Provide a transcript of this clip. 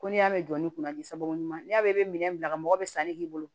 Ko n'i y'a mɛn jɔ ni kunnadiko ɲuman n'i y'a mɛn i bɛ minɛn bila ka mɔgɔ bɛ san ne bolo